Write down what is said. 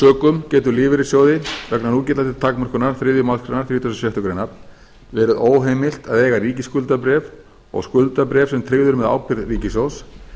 sökum getur lífeyrissjóði vegna núgildandi takmörkunar þriðju málsgrein þrítugustu og sjöttu grein verið óheimilt að eiga ríkisskuldabréf og skuldabréf sem tryggð eru með ábyrgð ríkissjóðs